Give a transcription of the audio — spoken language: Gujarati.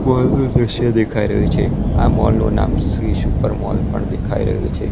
મૉલ નું દૃશ્ય દેખાય રહ્યું છે આ મૉલ નું નામ શ્રી સુપર મોલ પણ દેખાય રહ્યું છે.